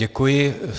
Děkuji.